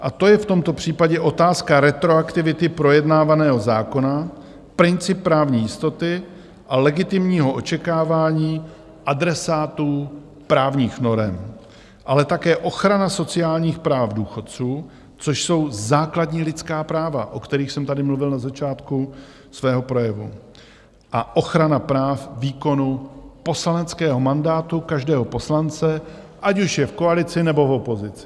A to je v tomto případě otázka retroaktivity projednávaného zákona, princip právní jistoty a legitimního očekávání adresátů právních norem, ale také ochrana sociálních práv důchodců, což jsou základní lidská práva, o kterých jsem tady mluvil na začátku svého projevu, a ochrana práv výkonu poslaneckého mandátu každého poslance, ať už je v koalici, nebo v opozici.